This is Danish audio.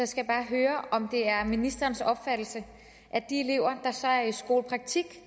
skal bare høre om det er ministerens opfattelse at de elever der så er i skolepraktik